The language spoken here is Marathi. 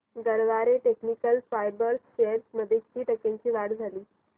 गरवारे टेक्निकल फायबर्स शेअर्स मध्ये किती टक्क्यांची वाढ झाली